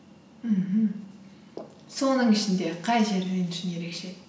мхм соның ішінде қай жер үшін ерекше